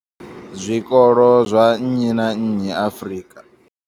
Zwikolo zwa nnyi na nnyi Afrika.